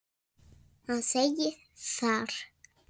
Hann segir þar